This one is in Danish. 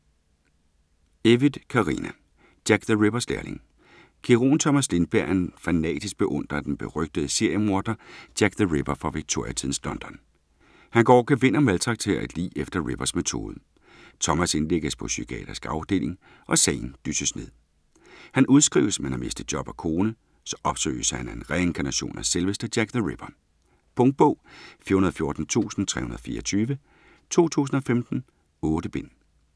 Evytt, Carina: Jack the Rippers lærling Kirurgen Thomas Lindberg er en fanatisk beundrer af den berygtede seriemorder Jack the Ripper fra Victoria-tidens London. Han går over gevind og maltrakterer et lig efter Rippers metode. Thomas indlægges på psykiatrisk afdeling, og sagen dysses ned. Han udskrives men har mistet job og kone. Så opsøges han af en reinkarnation af selveste Jack the Ripper. Punktbog 414324 2015. 8 bind.